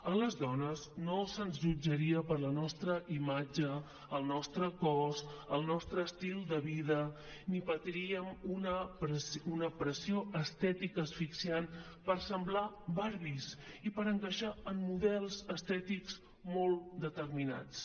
a les dones no se’ns jutjaria per la nostra imatge el nostre cos el nostre estil de vida ni patiríem una pressió estètica asfixiant per semblar barbies i per encaixar en models estètics molt determinats